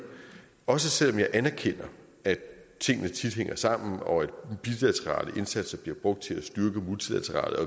også selv om jeg anerkender at tingene tit hænger sammen og at bilaterale indsatser bliver brugt til at styrke multilaterale og